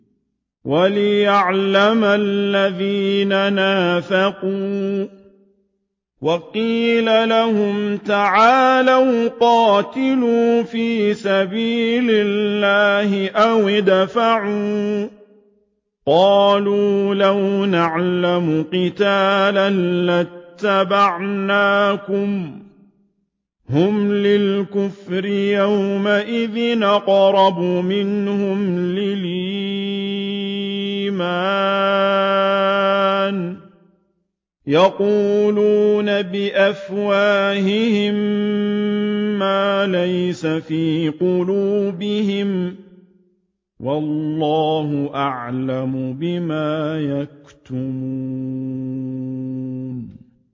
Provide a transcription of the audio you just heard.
وَلِيَعْلَمَ الَّذِينَ نَافَقُوا ۚ وَقِيلَ لَهُمْ تَعَالَوْا قَاتِلُوا فِي سَبِيلِ اللَّهِ أَوِ ادْفَعُوا ۖ قَالُوا لَوْ نَعْلَمُ قِتَالًا لَّاتَّبَعْنَاكُمْ ۗ هُمْ لِلْكُفْرِ يَوْمَئِذٍ أَقْرَبُ مِنْهُمْ لِلْإِيمَانِ ۚ يَقُولُونَ بِأَفْوَاهِهِم مَّا لَيْسَ فِي قُلُوبِهِمْ ۗ وَاللَّهُ أَعْلَمُ بِمَا يَكْتُمُونَ